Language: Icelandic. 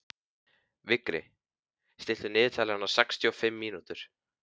Vigri, stilltu niðurteljara á sextíu og fimm mínútur.